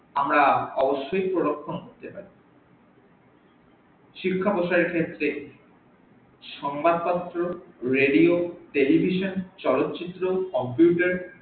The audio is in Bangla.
আমরা অবশ্যই পরিবর্তন করতে পারি শিক্ষা বলতে সংবাদ পত্র radio television চলচিত্র computer আমরা